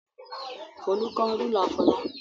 Folú kán rúlà Fọlá.